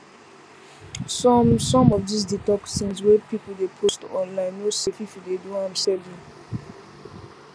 some some of these detox things wey people dey post online no safe if you dey do am steady